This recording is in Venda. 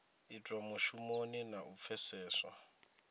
itwa mushumoni na u pfeseswa